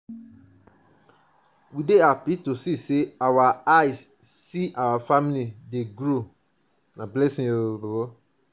we dey happy to see sey our see sey our family dey grow na blessing.